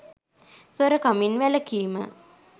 සොරකමින් වැළකීම